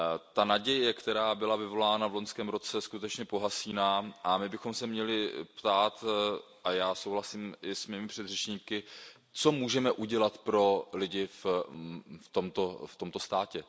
Ta naděje, která byla vyvolána v loňském roce, skutečně pohasíná, a my bychom se měli ptát a já souhlasím i s mými předřečníky Co můžeme udělat pro lidi v tomto státě?